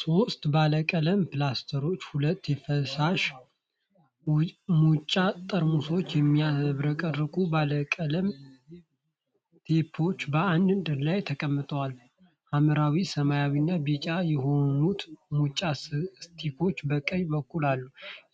ሦስት ባለቀለም ፕላስተሮች፣ ሁለት የፈሳሽ ሙጫ ጠርሙሶችና የሚያብረቀርቁ ባለቀለም ቴፖች በአንድ ላይ ተቀምጠዋል። ሐምራዊ፣ ሰማያዊና ቢጫ የሆኑት ሙጫ ስቲኮች በቀኝ በኩል አሉ።